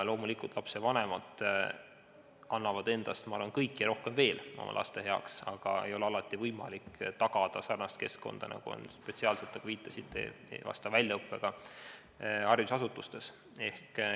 Loomulikult annavad lapsevanemad endast, ma arvan, oma laste heaks kõik ja rohkemgi veel, aga alati ei ole võimalik tagada sarnast keskkonda, nagu on spetsiaalsetes, nagu te viitasite, vastava väljaõppega haridusasutustes.